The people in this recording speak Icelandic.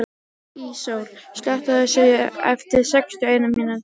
Íssól, slökktu á þessu eftir sextíu og eina mínútur.